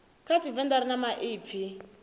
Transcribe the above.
kha tshivenḓa ri na maipfi